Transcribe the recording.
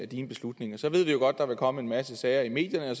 dine beslutninger så ved vi jo godt at der vil komme en masse sager i medierne